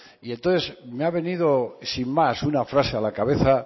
y entonces me ha venido sin más una frase a la cabeza